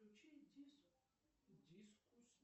включи дискурс